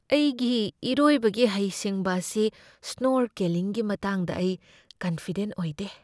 ꯑꯩꯒꯤ ꯏꯔꯣꯏꯕꯒꯤ ꯍꯩꯁꯤꯡꯕ ꯑꯁꯤ ꯁ꯭ꯅꯣꯔꯀꯦꯂꯤꯡꯒꯤ ꯃꯇꯥꯡꯗ ꯑꯩ ꯀꯟꯐꯤꯗꯦꯟꯠ ꯑꯣꯏꯗꯦ꯫